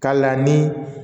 K'a la ni